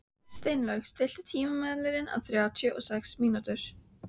Steinlaug, stilltu tímamælinn á þrjátíu og sex mínútur.